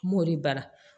N m'o de bara